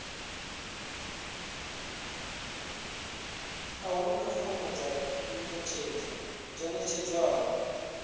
a huna fomo dzi ḓ adzwaho